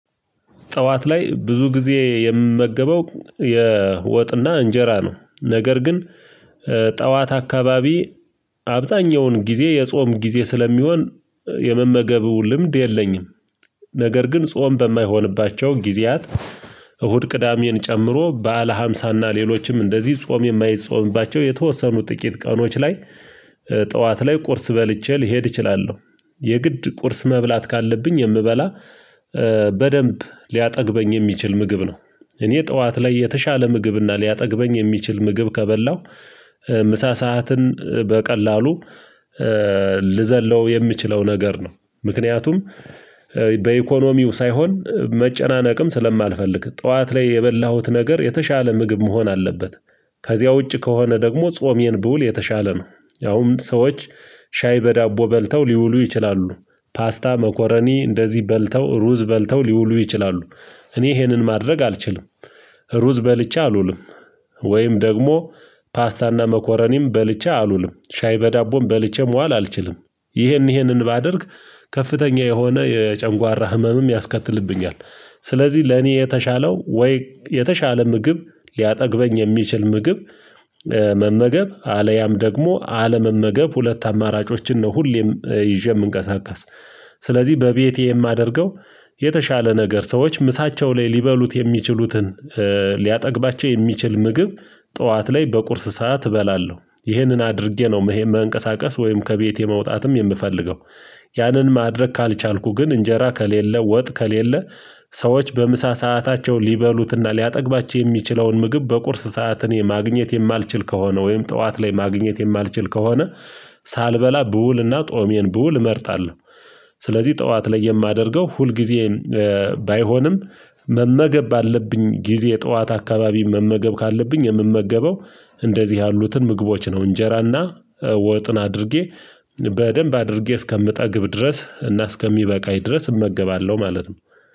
ጠዋት ላይ ብዙ ጊዜ የምመገበው የወጥና እንጀራ ነው። ነገር ግን ጠዋት አካባቢ አብዛኛውን ጊዜ የጾም ጊዜ ስለሚሆን የመመገቡ ልምድ የለኝም። ነገር ግን ጾም በማይሆንባቸው ጊዜያት እሁድ ቅዳሜን ጨምሮ በዓለ ሀምሳና ሌሎችም እንደዚህ ጾም የማይጾምባቸው የተወሰኑ ጥቂት ቀኖች ላይ ጠዋት ላይ ቁርስ በልቼ ልሄድ እችላለሁ። የግድ ቁርስ መብላት ካለብኝ የምበላ በደንብ ሊያጠግበኝ የሚችል ምግብ ነው። እኔ ጠዋት ላይ የተሻለ ምግብ እና ሊያጠግበኝ የሚችል ምግብ ከበላው ምሳ ሰዓትን በቀላሉ ልዘለው የምችለው ነገር ነው። ምክንያቱም በኢኮኖሚው ሳይሆን መጨናነቅም ስለማልፈልግ ጠዋት ላይ የበላሁት ነገር የተሻለ ምግብ መሆን አለበት። ከዚያ ውጪ ከሆነ ደግሞ ጾሜን ብውል የተሻለ ነው። ያው ሰዎች ሻይ በዳቦ በልተው ሊውሉ ይችላሉ። ፓስታ መኮረኒ እንደዚህ በልተው ሩዝ በልተው ሊውሉ ይችላሉ። እኔ ይሄንን ማድረግ አልችልም። ሩዝ በልቼ አልውልም። ወይም ደግሞ ፓስታና መኮረኒም በልቼ አልውልም ሻይ በዳቦም በልቼም ዋል አልችልም። ይሄን ይሄንን ባደርግ ከፍተኛ የሆነ የጨንጓራ ህመምም ያስከትልብኛል። ስለዚህ ለኔ የተሻለው ወይ የተሻለ ምግብ ሊያጠግበኝ የሚችል ምግብ መመገብ አለያም ደግሞ አለመመገብ ሁለት አማራጮችን ነው ሁሌም ይዤ የምንቀሳቀስ። ስለዚህ በቤቴ የማደርገው የተሻለ ነገር ሰዎች ምሳቸው ላይ ሊበሉት የሚችሉትን ሊያጠግባቸው የሚችል ምግብ ጠዋት ላይ በቁርስ ሰዓት እበላለሁ። ይህንን አድርጌ ነው ይሄ መንቀሳቀስ ወይም ከቤቴ መውጣትም የምፈልገው። ያንን ማድረግ ካልቻልኩ ግን እንጀራ ከሌለ ወጥ ከሌለ ሰዎች በምሳ ሰአታቸው ሊበሉትና ሊያጠግባቸው የሚችለውን ምግብ በቁርስ ሰዓት እኔ ማግኘት የማልችል ከሆነ ወይም ጠዋት ላይ ማግኘት የማልችል ከሆነ ሳልበላ ብውልና ጦሜን በውል እመርታለሁ። ስለዚህ ጠዋት ላይ የማደርገው ሁልጊዜ ባይሆንም መመገብ ባለብኝ ጊዜ ጠዋት አካባቢ መመገብ ካለብኝ የምመገበው እንደዚህ ያሉትን ምግቦች ነው። እንጀራና ወጥን አድርጌ በደንብ አድርጌ እስከምጠግብ ድረስ እና እስከሚበቃኝ ድረስ እመገባለሁ ማለት ነው